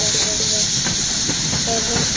Er hún sæt?